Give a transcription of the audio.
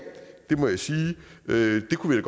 det kunne